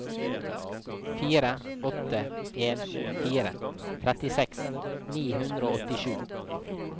fire åtte en fire trettiseks ni hundre og åttisju